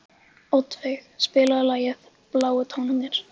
Oddveig, spilaðu lagið „Bláu tónarnir“.